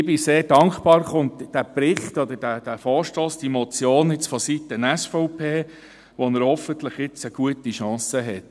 Ich bin sehr dankbar, kommt der Vorstoss nun vonseiten der SVP, wo er hoffentlich nun gute Chancen hat.